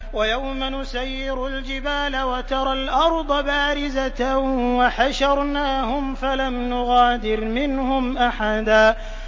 وَيَوْمَ نُسَيِّرُ الْجِبَالَ وَتَرَى الْأَرْضَ بَارِزَةً وَحَشَرْنَاهُمْ فَلَمْ نُغَادِرْ مِنْهُمْ أَحَدًا